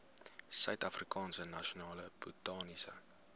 suidafrikaanse nasionale botaniese